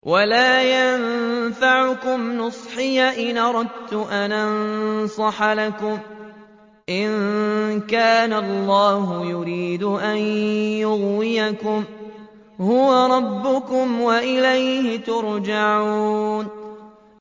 وَلَا يَنفَعُكُمْ نُصْحِي إِنْ أَرَدتُّ أَنْ أَنصَحَ لَكُمْ إِن كَانَ اللَّهُ يُرِيدُ أَن يُغْوِيَكُمْ ۚ هُوَ رَبُّكُمْ وَإِلَيْهِ تُرْجَعُونَ